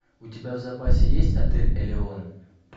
у тебя в запасе есть отель элеон